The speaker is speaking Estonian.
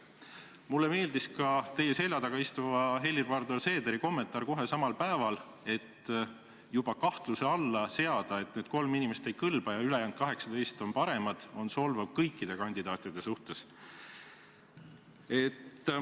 Mulle meeldis ka teie selja taga istuva Helir-Valdor Seederi kommentaar, mille ta tegi kohe samal päeval, öeldes, et juba selle kahtluse alla seadmine, et need kolm inimest ei kõlba ja ülejäänud 18 on paremad, on solvav kõikide kandidaatide suhtes.